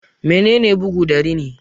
Menene bugu da rini?